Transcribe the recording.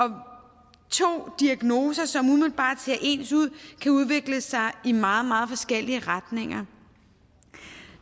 to diagnoser som umiddelbart ser ens ud kan udvikle sig i meget meget forskellige retninger